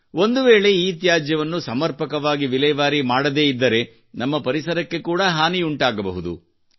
ಒಂದುವೇಳೆ ಇತ್ಯಾಜ್ಯವನ್ನು ಸಮರ್ಪಕವಾಗಿ ವಿಲೇವಾರಿ ಮಾಡದೇ ಇದ್ದರೆ ನಮ್ಮ ಪರಿಸರಕ್ಕೆ ಕೂಡಾ ಹಾನಿಯುಂಟಾಗಬಹುದು